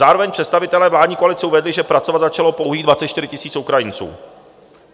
Zároveň představitelé vládní koalice uvedli, že pracovat začalo pouhých 24 000 Ukrajinců.